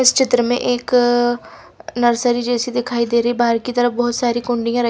इस चित्र में एक नर्सरी जैसी दिखाई दे रही बाहर की तरफ बहुत सारी कुंडिया रख।